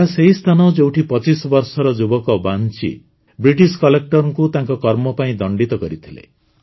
ଏହା ସେହି ସ୍ଥାନ ଯେଉଁଠି ୨୫ ବର୍ଷର ଯୁବକ ବାଂଚି ବ୍ରିଟିଶ କଲେକ୍ଟରଙ୍କୁ ତାଙ୍କ କର୍ମ ପାଇଁ ଦଣ୍ଡିତ କରିଥିଲେ